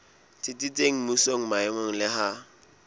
tsitsitseng mmusong maemong le ha